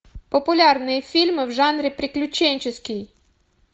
популярные фильмы в жанре приключенческий